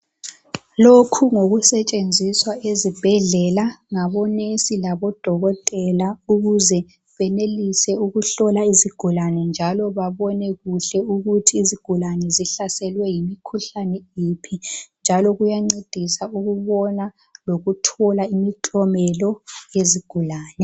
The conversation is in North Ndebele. Lokhu ngokusetshenziswa ezibhedlela ngabo nesi labodokotela ukuze benelise ukuhlola izigulani njalo babone kuhle ukuthi izigulane zihlaselwe yimkhuhlane yiphi njalo kuyancedisa ukubona lokuthola imiklomelo yezigulani.